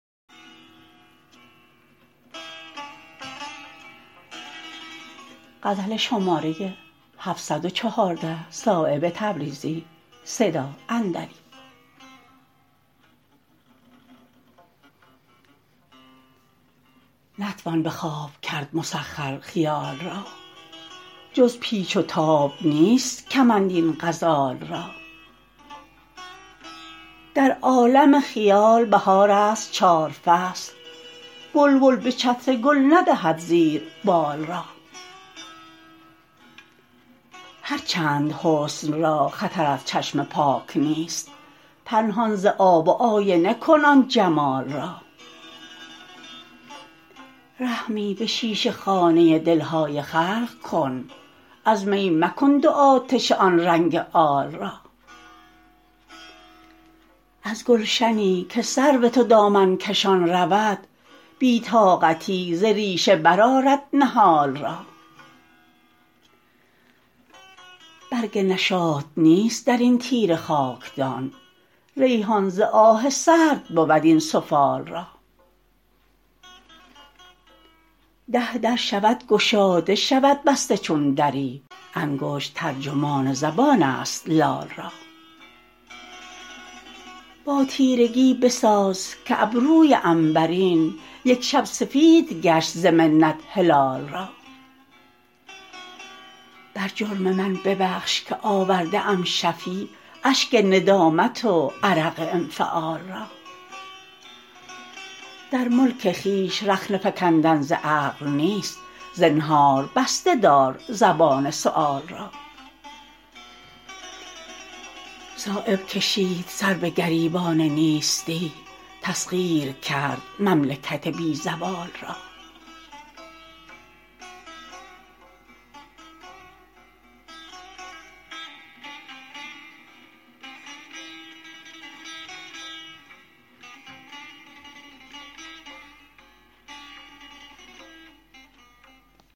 نتوان به خواب کرد مسخر خیال را جز پیچ و تاب نیست کمند این غزال را در عالم خیال بهارست چار فصل بلبل به چتر گل ندهد زیر بال را هر چند حسن را خطر از چشم پاک نیست پنهان ز آب و آینه کن آن جمال را رحمی به شیشه خانه دلهای خلق کن از می مکن دو آتشه آن رنگ آل را از گلشنی که سرو تو دامن کشان رود بی طاقتی ز ریشه برآرد نهال را برگ نشاط نیست درین تیره خاکدان ریحان ز آه سرد بود این سفال را ده در شود گشاده شود بسته چون دری انگشت ترجمان زبان است لال را با تیرگی بساز که ابروی عنبرین یکشب سفید گشت ز منت هلال را بر جرم من ببخش که آورده ام شفیع اشک ندامت و عرق انفعال را در ملک خویش رخنه فکندن ز عقل نیست زنهار بسته دار زبان سؤال را صایب کشید سر به گریبان نیستی تسخیر کرد مملکت بی زوال را